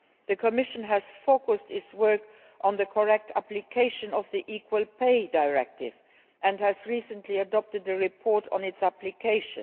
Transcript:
The Commission has focused its work on the correct application of the Equal Pay Directive and has recently adopted a report on its application.